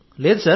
లేదు సార్